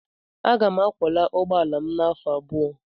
Aga m akwọla ụgbọ ala m afọ abụọ.